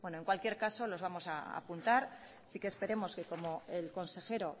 bueno en cualquier caso los vamos a apuntar sí que esperemos que como el consejero